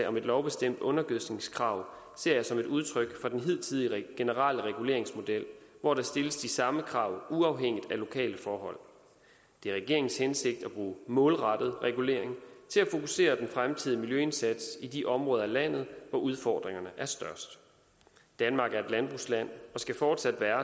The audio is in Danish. om et lovbestemt undergødskningskrav ser jeg som et udtryk for den hidtidige generelle reguleringsmodel hvor der stilles de samme krav uafhængigt af lokale forhold det er regeringens hensigt at bruge målrettet regulering til at fokusere den fremtidige miljøindsats i de områder af landet hvor udfordringerne er størst danmark er et landbrugsland og skal fortsat være